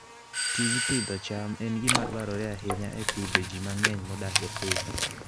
Tij pidho cham en gima dwarore ahinya e pidho ji mang'eny modak e piny.